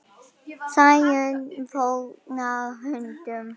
Sæunn fórnar höndum.